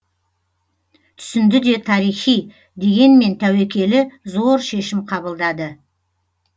түсінді де тарихи дегенмен тәуекелі зор шешім қабылдады